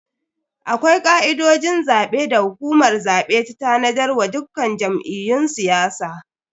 Akwai ka'idojin zabe da hukumar zabe ta tanadar wa dukkan jam'iyyun siyasa.